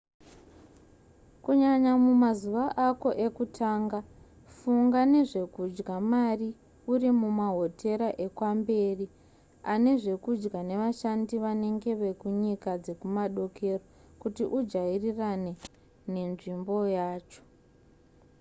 kunyanya mumazuva ako ekutanga funga nezvekudya mari uri mumahotera ekwamberi ane zvekudya nevashandi vanenge vekunyika dzekumadokero kuti ujairane nenzvimbo yacho